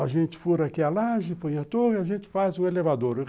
A gente fura aqui a laje, põe a torre, a gente faz o elevador.